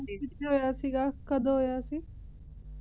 ਕਿੱਥੇ ਹੋਇਆ ਸੀਗਾ ਕਦੋਂ ਹੋਇਆ ਸੀ